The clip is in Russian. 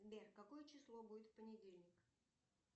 сбер какое число будет в понедельник